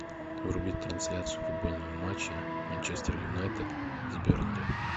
врубить трансляцию футбольного матча манчестер юнайтед с бернли